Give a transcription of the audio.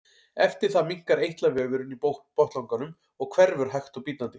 eftir það minnkar eitlavefurinn í botnlanganum og hverfur hægt og bítandi